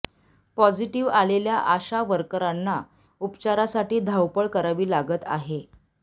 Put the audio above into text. positive आलेल्या आशा वर्करांना उपचारासाठी धावपळ करावी लागत आहे